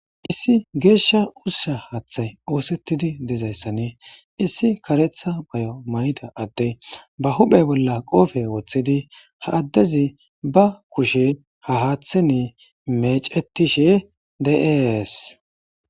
issi geeshsha ussa haaththay oosettidi dezayssanee issi karetha bayo mayda adey ba huphe bolla qoope woththidi ha addezi ba kushe haaththen mecetishe de'es.